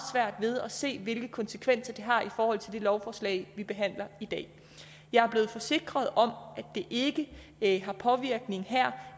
ved at se hvilke konsekvenser det har i forhold til det lovforslag vi behandler i dag jeg er blevet forsikret om at det ikke har påvirkning her